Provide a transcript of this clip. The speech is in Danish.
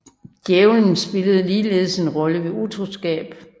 Djævelen spillede ligeledes en rolle ved utroskab